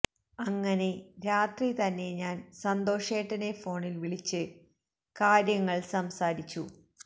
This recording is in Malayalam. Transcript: അങ്ങനെ രാത്രി തന്നെ ഞാൻ സന്തോഷേട്ടനെ ഫോണിൽ വിളിച്ച് കാര്യങ്ങൾ സംസാരിച്ചു